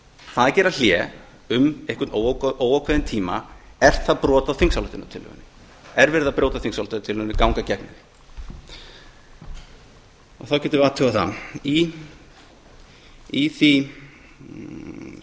það að gera hlé um einhvern óákveðinn tíma er það brot á þingsályktunartillögunni er verið að brjóta þingsályktunartillöguna eða ganga gegn henni þá getum við